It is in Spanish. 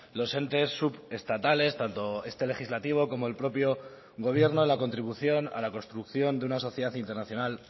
los entes subestatales tanto este legislativo como el propio gobierno en la contribución a la construcción de una sociedad internacional